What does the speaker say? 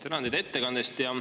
Tänan teid ettekande eest.